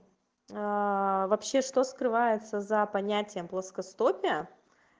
а вообще что скрывается за понятием плоскостопия